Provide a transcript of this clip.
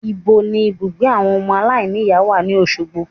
Níbo ni ibùgbé àwọn ọmọ aláìníìyá wà ní Òsogbo